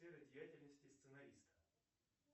сфера деятельности сценариста